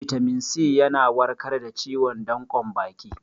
Bitamin C yana warkar da ciwon danƙon baki